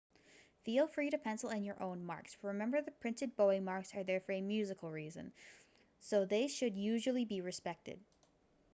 feel free to pencil in your own marks but remember the printed bowing marks are there for a musical reason so they should usually be respected